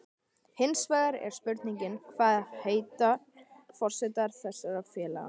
Hinsvegar er spurningin, hvað heitar forsetar þessara félaga?